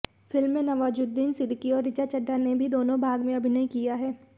film में नवाजुद्दीन सिद्दीकी और ऋचा चड्ढा ने भी दोनो भाग में अभिनय किया है